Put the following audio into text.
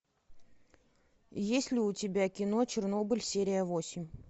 есть ли у тебя кино чернобыль серия восемь